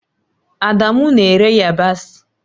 Adamu na-ere yabasị